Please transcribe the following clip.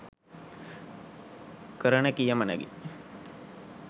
කරන කියමනකි.